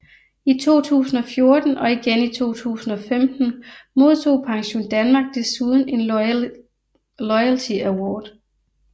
I 2014 og igen i 2015 modtog PensionDanmark desuden en Loyalty Award